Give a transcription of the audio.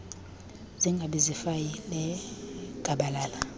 zingabi ziifayile gabalala